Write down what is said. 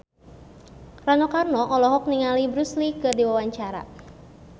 Rano Karno olohok ningali Bruce Lee keur diwawancara